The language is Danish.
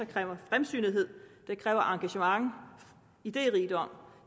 kræver fremsynethed det kræver engagement og iderigdom